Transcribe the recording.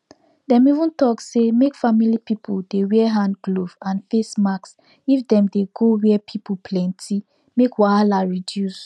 dem even talk say make family people dey wear hand glove and face mask if dem dey go where pipo plenti make wahala reduce